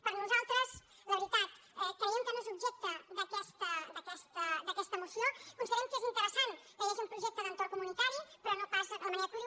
per a nosaltres la veritat creiem que no és objecte d’aquesta moció considerem que és interessant que hi hagi un projecte d’entorn comunitari però no pas de la manera que ho diu